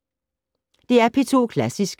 DR P2 Klassisk